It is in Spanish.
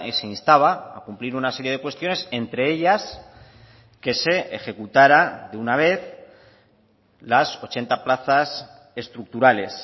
se instaba a cumplir una serie de cuestiones entre ellas que se ejecutará de una vez las ochenta plazas estructurales